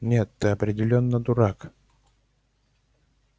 нет ты определённо дурак